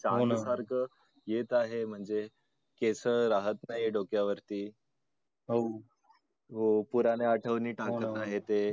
हो ना. सारखं येत आहेत म्हणजे केस राहत नाही डोक्यावरती. हो . हो पुराणे आठवणी टाकत आहेत ते